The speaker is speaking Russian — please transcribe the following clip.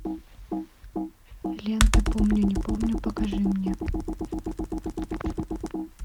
лента помню не помню покажи мне